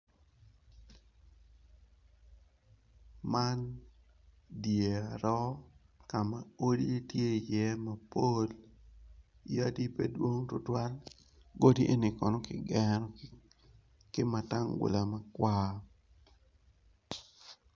Man dyer roo kama odi tye iye mapol yadi pedwong twatwal godi eni kono kigero kimatangula makwar.